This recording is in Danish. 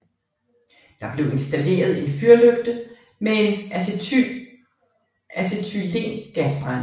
Der blev installeret en fyrlygte med en acetylengasbrænder